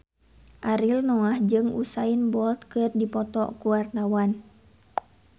Ariel Noah jeung Usain Bolt keur dipoto ku wartawan